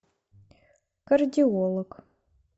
кардиолог